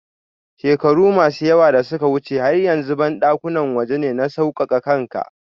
shekaru masu yawa dasuka wuche har yanzu bandakuna waje ne na saukaka kanka.